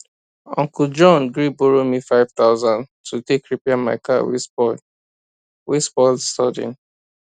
uncle john gree borrow me five thousand to take repair my car wey spoil wey spoil sudden